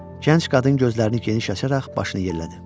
Gənc qadın gözlərini geniş açaraq başını yellədi.